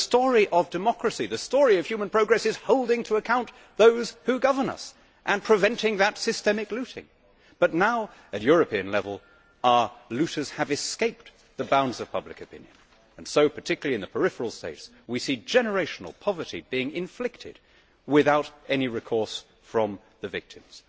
The story of democracy, the story of human progress, is holding to account those who govern us and preventing that systemic looting, but now at European level our looters have escaped the bounds of public opinion and so, particularly in the peripheral states, we see generational poverty being inflicted without any recourse from the victims.